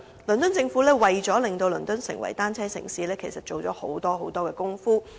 倫敦政府為了令倫敦成為單車友善城市，其實下了很多工夫。